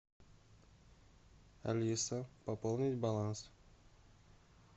алиса пополнить баланс